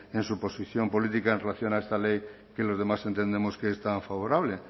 en su posición política en relación a esta ley que los demás entendemos que es tan favorable